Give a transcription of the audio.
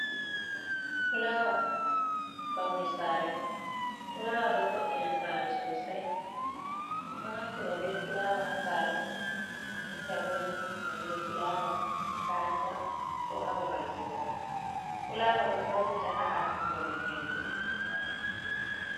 Fulawa bauni sare fulawa do voɗɗina sare sosai en ɗo naftira be fulawa hasare menbinta bo en ɗo naftira be fulawa makaranta ko hababal kugal fulawa do vallita ha akingo men hindu doeada hindu.